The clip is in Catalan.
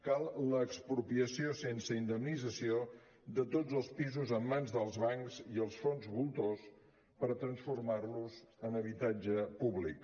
cal l’expropiació sense indemnització de tots els pisos en mans dels bancs i els fons voltors per transformar los en habitatge públic